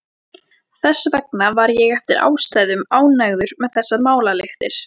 Þess vegna var ég eftir ástæðum ánægður með þessar málalyktir.